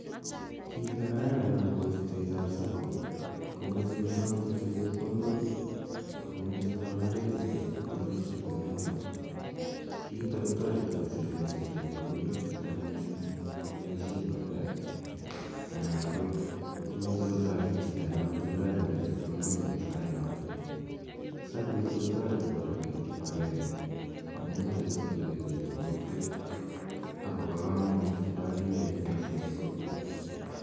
Kit ne kararan akopa chutet ap SACCO ko muchi kosam chito chepkondok ako muchi kokonore chito chepkondok SACCO inotok kora. Kiitok kotareti koseven chito chepkondok che chang' missing' che imuchi kopaishen baadae anan ko muchi kotaret chito ne matindai chepkondok eng' sainotok. SACCO ichu kora ko tareti koip kip agenge amu yache kotuya pik eng' kokwet ako pa kamanut missing' kip agengeit eng' kokwet.